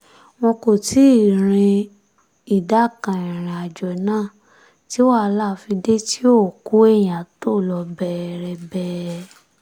wọn kò tí ì rin ìdá kan ìrìn àjò náà tí wàhálà fi dé tí òkú èèyàn tó lọ bẹẹrẹbẹ